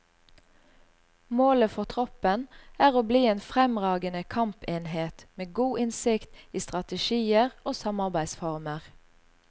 Målet for troppen er å bli en fremragende kampenhet med god innsikt i strategier og samarbeidsformer.